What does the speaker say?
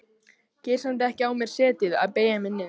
Get samt ekki á mér setið að beygja mig niður.